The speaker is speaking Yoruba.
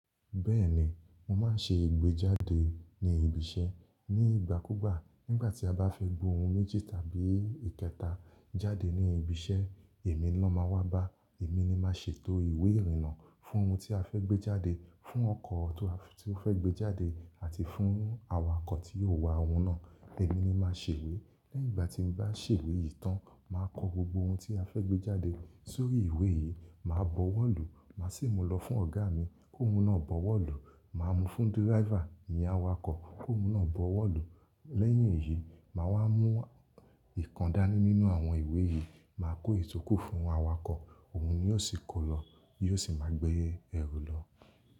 Bẹ́ẹ̀ni, mo máa ń ṣe ìgbéjáde ní ibi iṣẹ́. Ni ìgbà kúgbà, nígbà tí a bá fẹ́ gbé ohun méjì tàbí ìkẹta jáde ní ibi iṣẹ́, èmi lón máa wá bá. Èmi ni màá ṣe ètò ìwé ìrìnnà fún ohun tí a fẹ́ gbé jáde, fún ọkọ̀ tó fẹ́ gbé jáde àti fún awakọ̀ tí yóò wa ohun náà. Èmi ni màá ṣèwé. Lẹ́yìn ìgbà tí mo bá ṣèwé yìí tán, màá kọ gbogbo ohun tí a fẹ́ gbé jáde sórí ìwé yìí. Màá bọwọ́lù, màá sì mú lọ fún ọ̀gá mi kóhun náà bọwọ́lù. Màá mú fún díráiva, ìyen awakọ̀ kóhun náà bọwọ́lù. Lẹ́yìn èyí, màá wá mú ìkandání nínú àwọn ìwé yìí, màá kó ìtokù fún awakọ̀. Òun ni yóò sì kó lọ, yóò sì máa gbé ẹrù lọ.